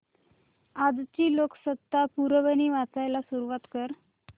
आजची लोकसत्ता पुरवणी वाचायला सुरुवात कर